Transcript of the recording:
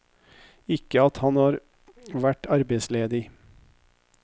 Ikke at han har vært arbeidsledig.